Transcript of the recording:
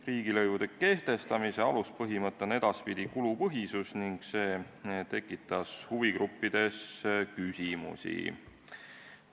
Riigilõivude kehtestamise aluspõhimõte on edaspidi kulupõhisus ning see tekitas huvigruppides küsimusi.